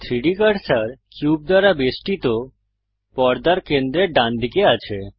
3ডি cursor cube দ্বারা বেষ্টিত পর্দার কেন্দ্রের ডানদিকে আছে